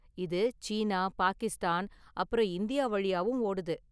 இது சீனா, பாகிஸ்தான், அப்புறம் இந்தியா வழியாவும் ஓடுது.